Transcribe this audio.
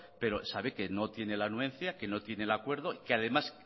pero sabe que no tiene la anuencia que no tiene el acuerdo y que además